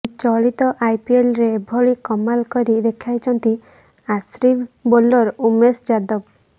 ଚଳିତ ଆଇପିଏଲରେ ଏଭଳି କମାଲ କରି ଦେଖାଇଛନ୍ତି ଆର୍ସିବି ବୋଲର୍ ଉମେଶ ଯାଦବ